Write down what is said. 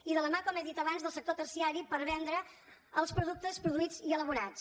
i de la mà com he dit abans del sector terciari per vendre els productes produïts i elaborats